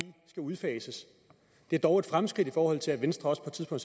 skal udfases det er dog et fremskridt i forhold til at venstre på